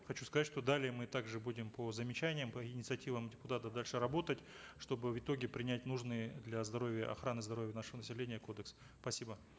хочу сказать что далее мы также будем по замечаниям по инициативам депутатов дальше работать чтобы в итоге принять нужный для здоровья и охраны здоровья нашего населения кодекс спасибо